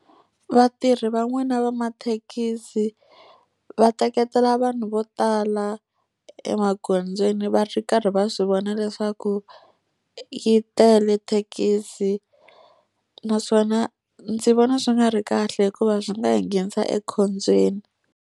Vatirhi van'wana va mathekisi va teketela vanhu vo tala emagondzweni va ri karhi va swi vona leswaku yi tele thekisi. Naswona ndzi vona swi nga ri kahle hikuva swi nga hi nghenisa ekhombyeni.